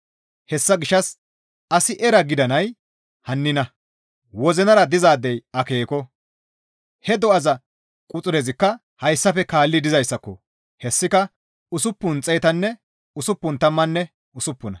Hessa gishshas asi era gidanay hannina; wozinara dizaadey akeeko; he do7aza quxurezikka hayssafe kaalli dizayssako; hessika usuppun xeetanne usuppun tammanne usuppuna.